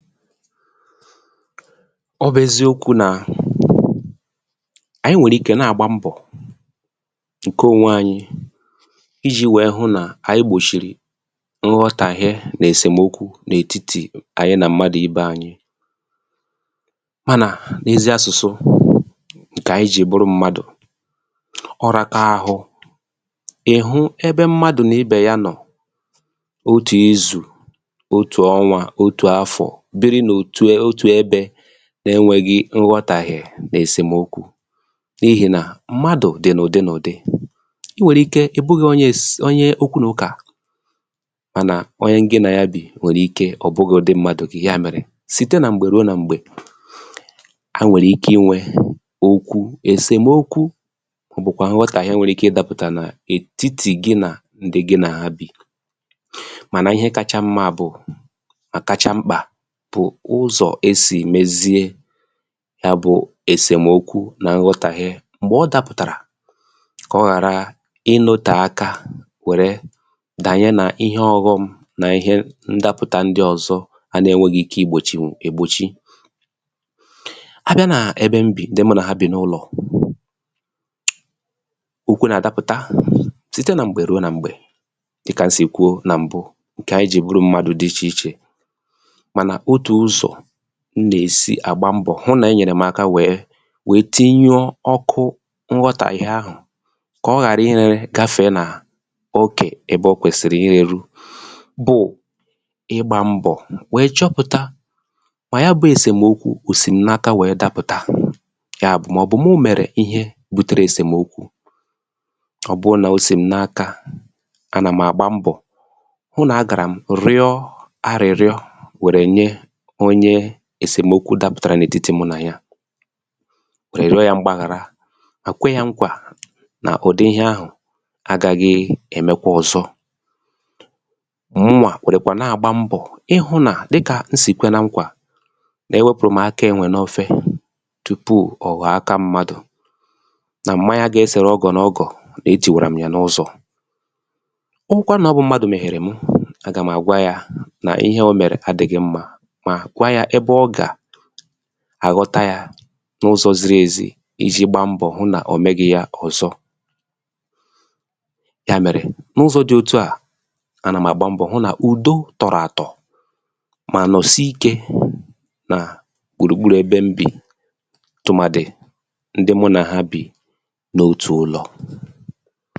file 111 ọ bụ̀ eziokwū nà anyị nwẹ̀rẹ̀ ike nà àgba mbọ̀ ǹkẹ ònwe anyị ijī wẹ hụ nà anyị gbòchìrì nghọ̀tàhie nà ẹ̀sẹmokwu n’ètitì ànyị nà mmadù ibe anyị mànà n’ezi asụ̀sụ ǹkẹ̀ anyị jì bụrụ mmadù ọraka ahụ ị̀ hụ ẹbẹ mmadù n’ibè ya nọ̀ otù izù otù ọnwā otù afọ̀ biri n’otù ẹbẹ̄ na ẹnwẹghị nghọtàghie nà ẹ̀sẹmokwu n’ihì nà mmadù dị̀ nà ùdị nà ùdị ị nwẹ̀rẹ ike ị̀ bughị̄ onye okwu n’ụkà mànà onye gị nà ya bì nwèrè ike ọ bụghị udị mmadù gị yà mèrè site nà m̀gbè ruo nà m̀gbè a nwèrè ike ịnwẹ okwu èsèmokwu bụkwa nghọtàghie nwèrè ike ịdāpụ̀tà nà ètiti gị nà ndị gị nà ha bì mànà ihe kacha mmā bụ̀ mà kacha mkpà bụ̀ ụzọ̀ e sì mezie ya bụ̄ ẹ̀sẹmokwu nà nghọtàghie m̀gbè ọ dapụ̀tàrà kà ọ ghàrà ị notè aka wẹ̀rẹ dànye nà ihe ọghọm nà ihe ndapụ̀ta ndị ọ̀zọ a na ẹnwẹghi ike I gbòchìnwù ègbòchi a bịa nà ebe m bì ndị mụ nà ha bị n’ụlọ̀ okwu nà àdapụ̀ta site nà m̀gbè ruo nà m̀gbè dịkà m sì kwuo nà m̀bụ ǹkẹ̀ anyị jì bụrụ mmadū dị ichè ichè mànà otù ụzọ̀ m nà èsi àgba mbọ̀ hụ nà enyèrè m aka wèe tinyuo ọkụ nghọtàghie ahụ̀ kà ọ ghàrà ị rẹrẹ gafẹ̀e nà okè ẹbẹ o kwèsi I rēru bụ̀ ịgbā mbọ̀ wẹ̀ẹ chọpụ̀ta mà ya bụ̄ ẹ̀sẹ̀mokwu òsì m n’aka wẹ̀ẹ dapụ̀ta yà bụ̀ mà ọ̀ bụ̀ mụ̀ mẹ̀rẹ ihe butere èsèmokwu a nà m àgba mbọ̀ hụ nà agàrà m rịọ arị̀rịọ wèrè nye onye èsèmokwu dapụ̀tàrà n’ètitì mụ nà ya wẹ̀ rịọ ya mgbàghàra mà kwẹ ya nkwà nà ụ̀dị ihẹ ahụ̀ agaghị èmẹkwa ọ̀zọ mụwà kwèrèkwà nà àgba mbọ̀ ịhụ̄ nà dịkà m sì kwẹ na nkwà nà ẹwẹpụ̀rụ m aka ẹ̀nwẹ̀ n’ofe tupù ọ̀ ghọ̀ọ aka m̀madù nà m̀manya ga ẹsẹ̀rẹ ọgọ̀ nà ọgọ̀ nà etìwàrà m yà n’ụzọ ọ wụkwa nà ọ wụ̀ mmadụ̀ mẹ̀ghẹ̀rẹ m a gà m àgwa yā nà ịhẹ ọ mẹ̀rẹ̀ adịghị mmā mà gwa ya ẹbẹ ọ gà àghọta yā n’ụzọ̄ ziri èzi ijī gba mbọ̀ hụ nà ọ mẹghị ya ọ̀zọ yà mẹ̀rẹ̀ n’ụzọ̄ dị otu à a nà m àgba mbọ̀ hụ nà ùdo tọ̀rọ̀ àtọ̀ mà nọ̀sịe ikē nà gbùrù gburù ebe m bì tụ̀màdị ndị mụ nà ha bì n’otù ụlọ̀